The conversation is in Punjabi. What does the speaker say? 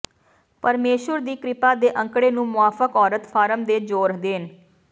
ਪਰਮੇਸ਼ੁਰ ਦੀ ਕਿਰਪਾ ਦੇ ਅੰਕੜੇ ਨੂੰ ਮੁਆਫਕ ਔਰਤ ਫਾਰਮ ਤੇ ਜ਼ੋਰ ਦੇਣ